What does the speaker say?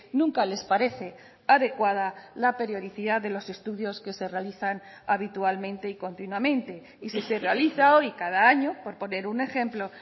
nunca les parece adecuada la periodicidad de los estudios que se realizan habitualmente y continuamente y si se realiza hoy cada año por poner un ejemplo